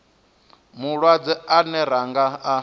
malwadze ane ra nga a